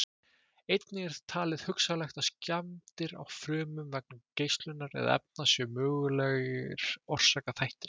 Einnig er talið hugsanlegt að skemmdir á frumum vegna geislunar eða efna séu mögulegir orsakaþættir.